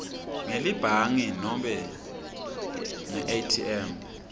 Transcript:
ngelibhangi nobe ngeatm